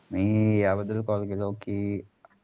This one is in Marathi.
मी या बदल call केलो कि.